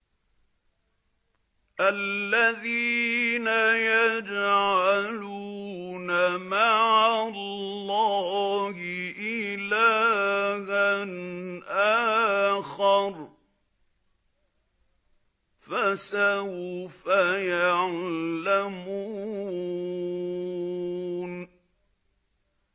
الَّذِينَ يَجْعَلُونَ مَعَ اللَّهِ إِلَٰهًا آخَرَ ۚ فَسَوْفَ يَعْلَمُونَ